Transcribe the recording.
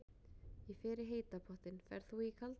Ég fer í heita pottinn. Ferð þú í kalda pottinn?